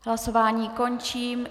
Hlasování končím.